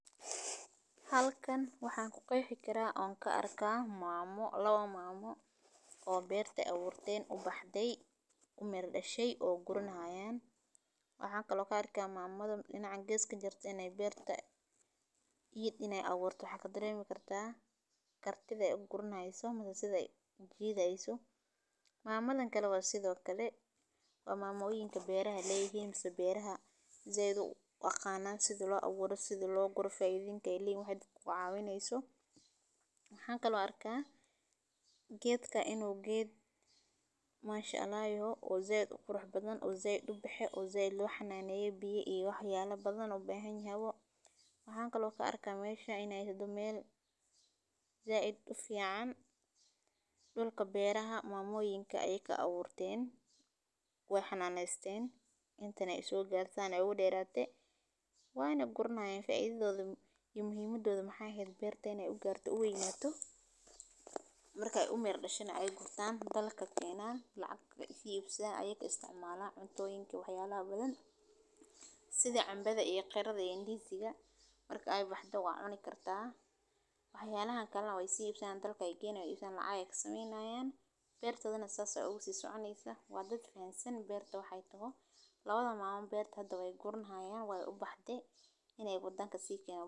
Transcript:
Halkan waxaan ku qeybi karaa oon ka arkay maamo, lowo maamo oo beerta awgeerteen u baxday u mir dhashay oo gurnaayeen. Waxaan kaloo ka arkaa maamadana inacay geeska jartay inay beerta iyo inay awoorto hagga dareemi kartaa, kartida ay u gurneysato matosida jiideyso. Maamadan kallu waa sidoo kale oo maamuloyinka beeraha leeyihiimso beeraha iyadoo waqaa naan sidii loo agwaro sidii loo guro faiidinkay liin waxay ku caawineyso. Waxaan kaloo arkaa geedka inuu geed maashinaya oo zayd u qurux badan oo zayd u baxee oo zayd looxa naanayeen biyo iyo xyaalo badan oo baahan yahay. Waxaan kaloo ka arkaa meesha inay sado meel zayd u fiican dhulka beeraha maamuloyinka ay ka awoorteen iyo xannaanaysteen intana isugu gaarsanay ugu dheeraaday waano gurnahayn faaidooda iyo muhimadoodu maxay heyd beertay inay u gaarto u waynato. Markay u mir dhashay na ay guurtaan dalalka keena lacag kaga tiibsan ayag istcmaala cuntooyinka xayalla badan. Sida cambada iyo qeerada diintiga marka ay baxdo waa coni kartaa. Xayaalaha kallaa way sii ibsan dalakay geenay iibsan lacag sameynaya beertadan saas oo ugu si socdaheysa. Wa dadwe fahaysan beerto waxay tahay la wada maamo beertada way gurnaayay way u baxdee inay bu'danka sii keeno.